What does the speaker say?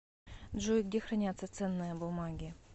джой где хранятся ценные бумаги